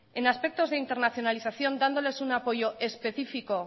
en aspectos de internacionalización dándoles un apoyo específico